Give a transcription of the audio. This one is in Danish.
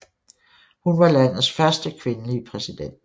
Hun var landets første kvindelige præsident